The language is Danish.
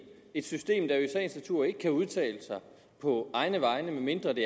et system der jo i sagens natur ikke kan udtale sig på egne vegne medmindre det